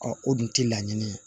o dun tɛ laɲini ye